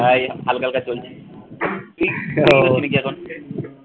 হে এই হালকা হালকা চলছে। ও, কি করছিলি কি এখন?